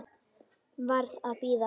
Varð að bíða.